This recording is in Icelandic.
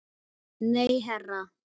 Nei, herra